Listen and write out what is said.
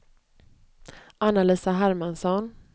Anna-Lisa Hermansson